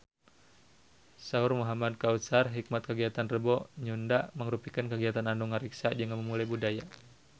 Saur Muhamad Kautsar Hikmat kagiatan Rebo Nyunda mangrupikeun kagiatan anu ngariksa jeung ngamumule budaya Sunda